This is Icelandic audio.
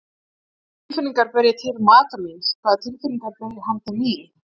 Hvaða tilfinningar ber ég til maka míns, hvaða tilfinningar ber hann til mín?